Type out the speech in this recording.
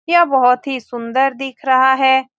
यह बहुत ही सुन्दर दिख रहा है।